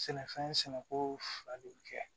Sɛnɛfɛn sɛnɛko fila de bɛ kɛ